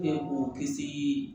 mɔgɔ kisi